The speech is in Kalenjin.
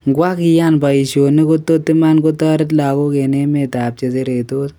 Kwang keyan paishonik kotot iman kotaret lagok en emet ap cheseretos?